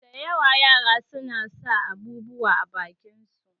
Sau da yawa yara suna sa abubuwa a bakin su